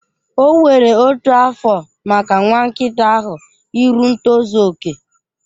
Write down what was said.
O were otu afọ maka nwa nkịta ahụ iru ntozu okè.